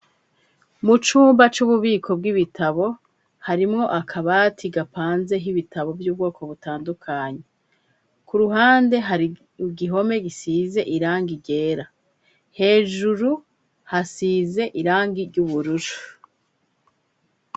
Mu cumba c'ububiko bw'ibitabo harimwo akabati gapanze h'ibitabo vy'ubwoko butandukanyi ku ruhande hari igihome gisize iranga igera hejuru hasize irangi ry'uburushu.